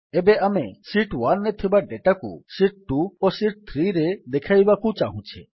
ଏବେ ଆମେ ଶୀଟ୍ ୧ରେ ଥିବା ଡେଟାକୁ ଶୀଟ୍ ୨ ଓ ଶୀଟ୍ ୩ରେ ଦେଖାଇବାକୁ ଚାହୁଁଛେ